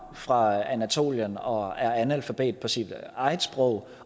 fra anatolien og er analfabet på sit eget sprog